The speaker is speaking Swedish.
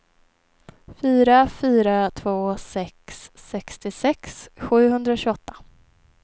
fyra fyra två sex sextiosex sjuhundratjugoåtta